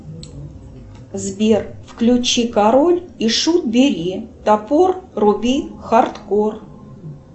сбер включи король и шут бери топор руби хардкор